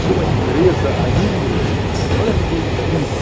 Tinha uma ingresa, a Ingrid, olha que coisa incrível.